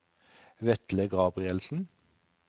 Vetle Gabrielsen